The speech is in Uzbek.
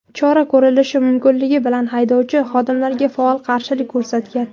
chora ko‘rilishi mumkinligi bilgan haydovchi xodimlarga faol qarshilik ko‘rsatgan.